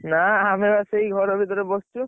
ନା ଆମେ ବା ସେଇ ଘର ଭିତରେ ପଶିଛୁ।